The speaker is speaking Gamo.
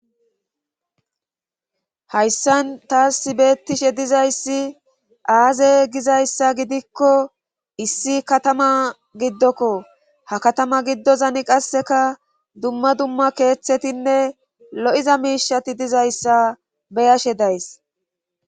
hayssan taas si beettishe dizayssi aaze gizayssa gidikko issi katama giddokko ha katama giddozani qasseka dumma dumma keeththetinne lo7iza miishati dizayssa beyashe days